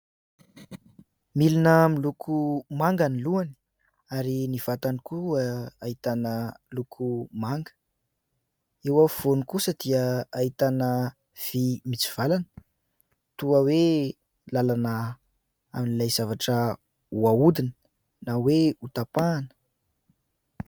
Milina miloko manga ny lohany ary ny vatany koa ahitana loko manga, eo afovoany kosa dia ahitana vy mitsivalana toa hoe làlana amin'ilay zavatra ho ahodina na hoe hotapahana.